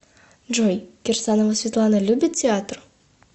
джой кирсанова светлана любит театр